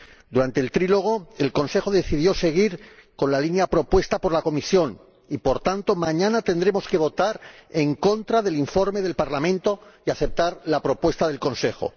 Durante el diálogo a tres bandas, el Consejo decidió seguir con la línea propuesta por la Comisión y, por tanto, mañana tendremos que votar en contra del informe del Parlamento y aceptar la propuesta del Consejo.